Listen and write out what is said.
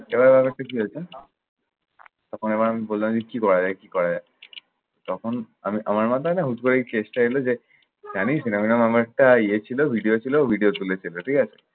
এভাবে অনেক কিছুই হয়েছে। তখন আমি আবার বললাম যে কি করা যায় কি করা যায়? তখন আমি আমার মাথায় না হুট করে এই case টা এলো যে, জানিস্ এরম এরম আমার একটা ইয়ে ছিল ভিড়িয়ো ছিল, ভিড়িয়ো এই আরকি।